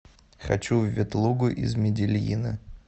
хочу в ветлугу из медельина